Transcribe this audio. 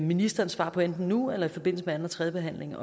ministerens svar på enten nu eller i forbindelse med anden og tredje behandling